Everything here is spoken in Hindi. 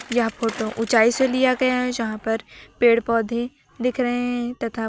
यह फोटो ऊंचाई से लिया गया है जहां पर पेड़ पौधे दिख रहे हैं तथा--